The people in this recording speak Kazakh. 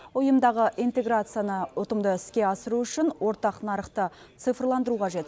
ұйымдағы интеграцияны ұтымды іске асыру үшін ортақ нарықты цифрландыру қажет